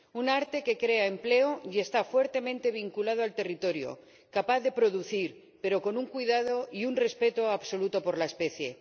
Un arte que crea empleo y está fuertemente vinculado al territorio, capaz de producir, pero con un cuidado y un respeto absolutos por la especie.